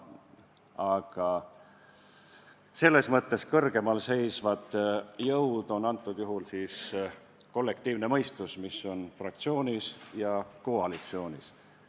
Aga selles mõttes kõrgemal seisvad jõud on antud juhul kollektiivne mõistus, mis on fraktsioonis ja koalitsioonis.